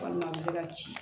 Walima a bɛ se ka ci